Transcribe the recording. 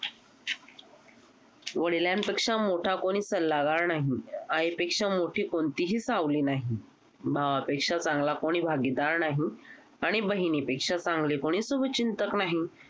वडिलांपेक्षा मोठा कोणी सल्लगार नाही, आईपेक्षा मोठी कोणतीही सावली नाही, भावापेक्षा चांगला कोणी भागीदार नाही आणि बहिणीपेक्षा चांगली कोणी शुभचिंतक नाही.